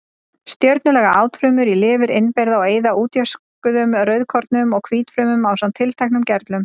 Stjörnulaga átfrumur í lifur innbyrða og eyða útjöskuðum rauðkornum og hvítfrumum ásamt tilteknum gerlum.